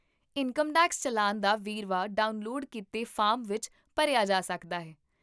income tax challan ਦਾ ਵੇਰਵਾ download ਕੀਤੇ ਫਾਰਮ ਵਿੱਚ ਭਰਿਆ ਜਾ ਸਕਦਾ ਹੈ